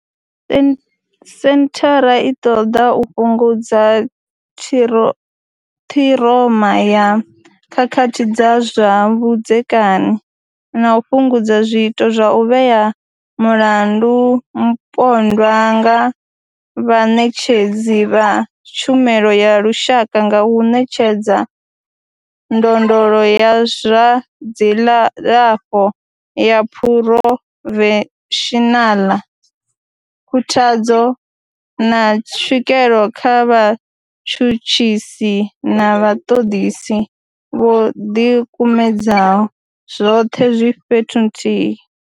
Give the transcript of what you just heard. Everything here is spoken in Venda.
Senthara i ṱoḓa u fhungudza thiro ṱhiroma ya khakhathi dza zwa vhudzekani na u fhungudza zwiito zwa u vhea mulandu mupondwa nga vhaṋetshedzi vha tshumelo ya lushaka nga u ṋetshedza ndondolo ya zwa dzilafho ya phurofeshinaḽa, khuthadzo, na tswikelo kha vhatshutshisi na vhaṱoḓisi vho ḓi kumedzaho, zwoṱhe zwi fhethu huthihi.